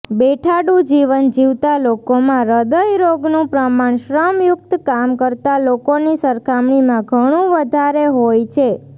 બેઠાડુ જીવન જીવતા લોકોમાં હ્રદયરોગનું પ્રમાણ શ્રમયુકત કામ કરતા લોકોની સરખામણીમાં ઘણું વધારે હોય છે